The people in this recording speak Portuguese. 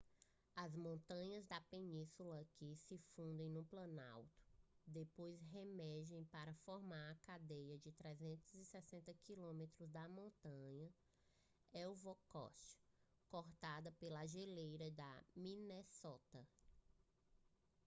as montanhas da península aqui se fundem no planalto depois reemergem para formar a cadeia de 360 km das montanhas ellsworth cortada pela geleira de minnesota